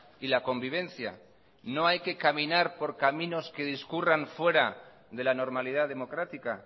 y la convivencia no hay que caminar por caminos que discurran fuera de la normalidad democrática